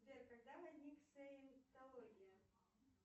сбер когда возник саентология